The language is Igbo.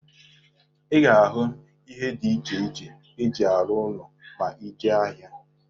Ị ga-ahụ ihe dị iche iche e ji arụ ụlọ ma ị jee n'ahịa.